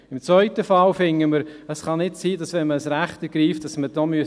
Im zweiten Fall finden wir, dass man bei Ergreifung des Rechts dafür bezahlen muss.